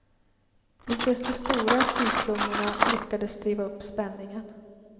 Inte ens de stora prissummorna lyckades driva upp spänningen.